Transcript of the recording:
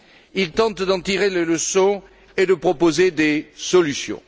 Il tente d'en tirer les leçons et de proposer des solutions.